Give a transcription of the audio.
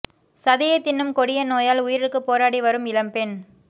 சதையை திண்ணும் கொடிய நோயால் உயிருக்கு போராடி வரும் இளம் பெண்